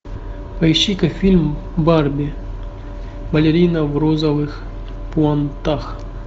поищи ка фильм барби балерина в розовых пуантах